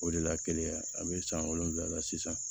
O de la kelenya a bɛ san wolonwula la sisan